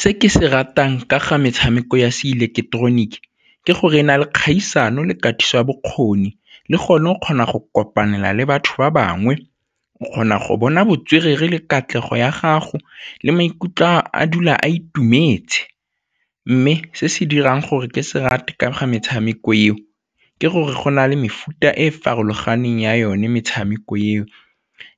Se ke se ratang ka ga metshameko ya seileketeroniki ke gore e na le kgaisano le katiso ya bokgoni le gone o kgona go kopanela le batho ba bangwe, o kgona go bona botswerere le katlego ya gago le maikutlo ka a dula a itumetse mme se se dirang gore ke se rate ga metshameko eo ke gore go na le mefuta e e farologaneng ya yone metshameko eo